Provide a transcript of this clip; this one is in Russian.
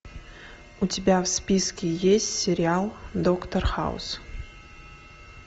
у тебя в списке есть сериал доктор хаус